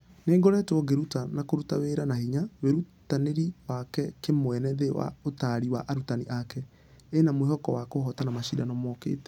Nĩ ngoretwo ngĩruta na kũruta wĩra na hinya wĩrutinire wake kĩmwene thĩ wa ũtari wa arutani ake ĩna mwĩhoko wa kũhotana mashidano mũkĩte.